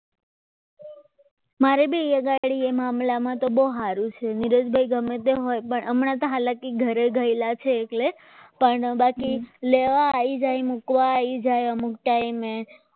મારે બી અહીં આગળ આમલામાં તો બહુ સારું છે નીરજભાઈ ગમે તે હોય પણ હમણાં તો હાલ કે ઘરે ગયેલા છે એટલે પણ બાકી લેવા આવી જાય મૂકવા આવી જાય અમુક ટાઈમે